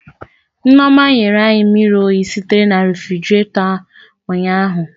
Nneoma nyere anyị mmiri oyi sitere na refigerator ụnyahụ